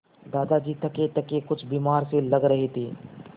दादाजी थकेथके कुछ बीमार से लग रहे थे